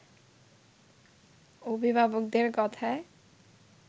অভিভাবকদের কথায়